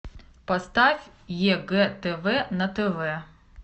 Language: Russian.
поставь егэ тв на тв